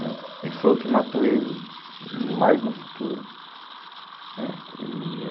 Né, e que foi o que matou ele mais no futuro, né. E